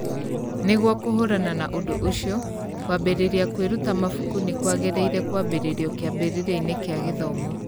Nĩguo kũhũrana na ũndũ ũcio, kwambĩrĩria kwĩruta mabuku nĩ kwagĩrĩire kwambĩrĩrio kĩambĩrĩria-inĩ kĩa gĩthomo.